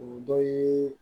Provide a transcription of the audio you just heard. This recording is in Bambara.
O dɔ ye